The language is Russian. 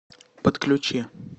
подключи